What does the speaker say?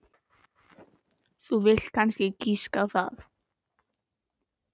Þú vilt kannski giska á það.